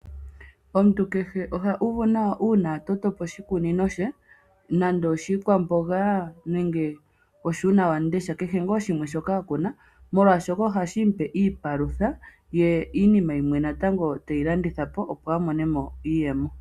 Omuntu kehe ohu uvu nawa uuna a totapo oshikunino she. Oshikunino otashi vulu shikale shiihulunde ngaashi uunawamundesha nenge sha kehe shimwe shoka akuna. Omuntu ota vulu oku mona mo iipalutha ye mwene ta landithapo woo iinima yimwe opo amonemo iiyemo.